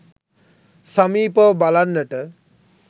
සමීපව බලන්නට